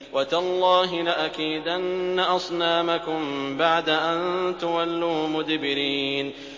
وَتَاللَّهِ لَأَكِيدَنَّ أَصْنَامَكُم بَعْدَ أَن تُوَلُّوا مُدْبِرِينَ